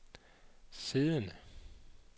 siddende